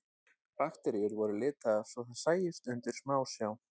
Bakteríur voru litaðar svo þær sæjust undir smásjá.